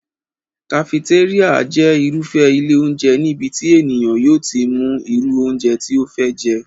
Kafetéríà jẹ́ irúfé ilé óúnjẹ níbi tí ènìyàn yóò ti mú irú óúnjẹ tí ó fẹ́ jẹ́